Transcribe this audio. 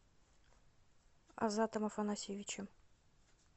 азатом афанасьевичем